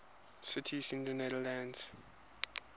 cities in the netherlands